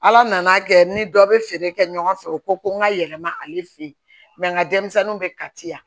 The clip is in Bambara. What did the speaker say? Ala nana kɛ ni dɔ bɛ feere kɛ ɲɔgɔn fɛ u ko ko n ka yɛlɛma ale fɛ yen n ka denmisɛnninw bɛ kati yan